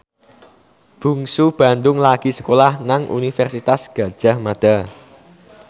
Bungsu Bandung lagi sekolah nang Universitas Gadjah Mada